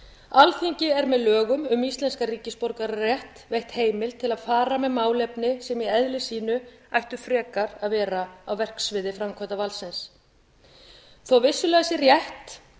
alþingi er með lögum um íslenskan ríkisborgararétt veitt heimild til að fara með málefni sem í eðli sínu ættu frekar að vera á verksviði framkvæmdarvaldsins þó vissulega sé rétt